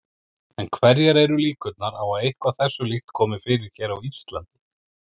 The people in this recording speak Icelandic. En hverjar eru líkurnar á að eitthvað þessu líkt komi fyrir hér á Íslandi?